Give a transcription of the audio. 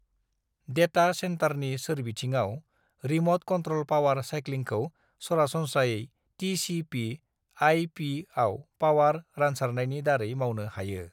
"Data सेन्टारनि सोरबिथिङाव, remote control power साइक्लिंखौ सरासनस्रायै टीसीपी/आईपीआव पावार रानसारनायनि दारै मावनो हायो।"